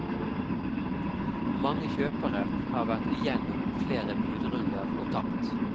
Mange kjøpere har vært igjennom flere budrunder og tapt.